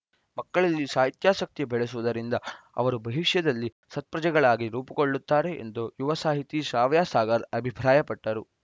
ಮಕ್ಕಳಲ್ಲಿ ಸಾಹಿತ್ಯಾಸಕ್ತಿ ಬೆಳೆಸುವುದರಿಂದ ಅವರು ಭವಿಷ್ಯದಲ್ಲಿ ಸತ್ಪ್ರಜೆಗಳಾಗಿ ರೂಪುಗೊಳ್ಳುತ್ತಾರೆ ಎಂದು ಯುವ ಸಾಹಿತಿ ಶ್ರಾವ್ಯ ಸಾಗರ್‌ ಅಭಿಪ್ರಾಯಪಟ್ಟರು